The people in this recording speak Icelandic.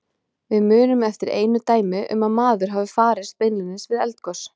Við munum eftir einu dæmi um að maður hafi farist beinlínis við eldgos.